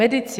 Medici.